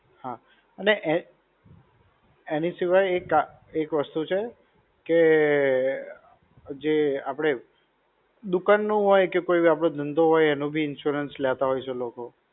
હા, અને એ, એની સિવાય એક, એક વસ્તુ છે કે, જે આપણે દુકાન નું હોય કે જે આપનો ધંધો હોય એનું બી insurance લેતા હોય છે લોકો.